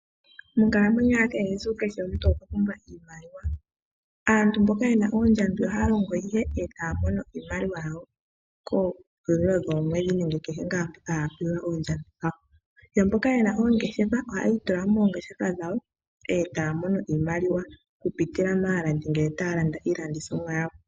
Monkalamwenyo ya kehe esiku kehe omuntu okwa pumbwa iimaliwa. Aantu mboka ye na oondjambi ohaya longo ihe e taya mono iimaliwa yawo komahulilo goomwedhi nenge kehe tuu mpoka haya pewelwa oondjambi dhawo. Yo mboka ye na oongeshefa ohaya itula mo moongeshefa dhawo e taya mono iimaliwa okupitila maalandi ngele taya landa iilandithomwa yawo.